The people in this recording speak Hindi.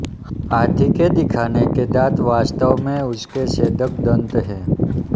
हाथी के दिखाने के दाँत वास्तव में उसके छेदक दंत हैं